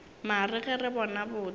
mare ge re bona botse